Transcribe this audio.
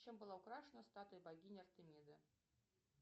чем была украшена статуя богини артемиды